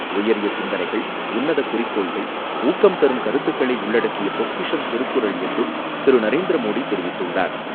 உயரிய சிந்தனைகள், உன்னத குறிக்கோள்கள், ஊக்கம் தரும் கருத்துக்களை உள்ளடக்கிய பொக்கிஷம் திருக்குறள் என்றும் திரு நரேந்திரமோடி தெரிவித்துள்ளார்.